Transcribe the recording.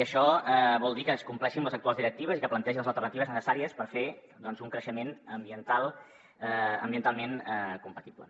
això vol dir que es compleixin les actuals directives i que es plantegin les alterna·tives necessàries per fer un creixement ambientalment compatible